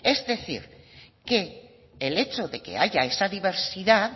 es decir que el hecho de que haya esta diversidad